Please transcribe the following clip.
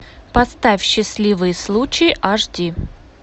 поставь счастливый случай аш ди